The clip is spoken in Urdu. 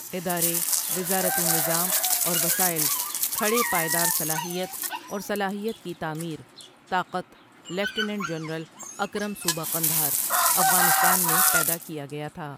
ادارے وزارتی نظام اور وسائل کھڑے پائیدار صلاحیت اور صلاحیت کی تعمیر طاقت لیفٹیننٹ جنرل اکرم صوبہ قندھار، افغانستان میں پیدا کیا گیا تھا ۔